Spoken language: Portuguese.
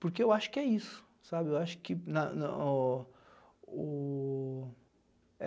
Porque eu acho que é isso, sabe, eu acho que na no o...